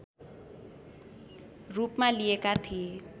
रूपमा लिएका थिए